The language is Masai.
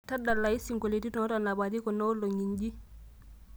tadalayu isingolioitin ootoponari kunaolong'i nji